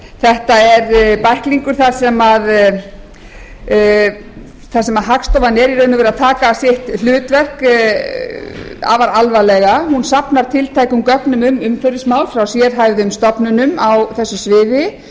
þetta er bæklingur þar sem hagstofan er í raun og veru að taka sitt hlutverk afar alvarlega hún safnar tilteknum gögnum um umhverfismál frá sérhæfðum stofnunum á þessu sviði